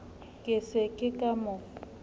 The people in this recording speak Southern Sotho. ke se ke ka mo